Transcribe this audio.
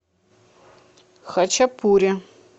хачапури